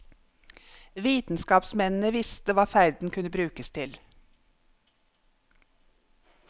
Vitenskapsmennene visste hva ferden kunne brukes til.